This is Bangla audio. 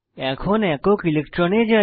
এখন একক ইলেকট্রনে যাই